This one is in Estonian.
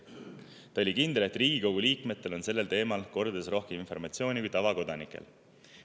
Ta oli kindel, et Riigikogu liikmetel on sellel teemal kordades rohkem informatsiooni kui tavakodanikel.